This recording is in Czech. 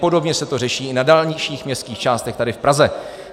Podobně se to řeší i na dalších městských částech tady v Praze.